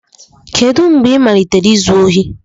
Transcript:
Kedu mgbe ị malitere izu ohi?